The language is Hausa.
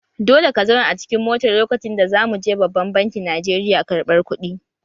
Dole ka zauna a cikin motar lokacin da za mu je babban bankin Najeriya karɓar kuɗi!